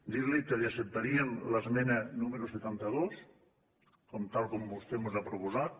dir li que li acceptaríem l’esmena número setanta dos tal com vostè mos ha proposat